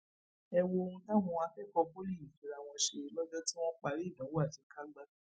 ẹ wo ohun táwọn akẹkọọ pọlì yìí fira wọn ṣe lọjọ tí wọn parí ìdánwò àṣekágbá